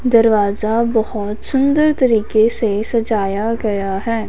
दरवाजा बहोत सुंदर तरीके से सजाया गया है।